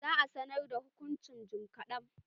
Za a sanar da hukuncin jim kaɗan.